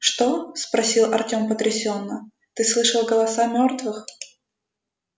что спросил артём потрясённо ты слышал голоса мёртвых